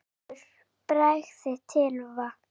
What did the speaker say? Valur bregst til va